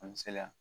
An misaliya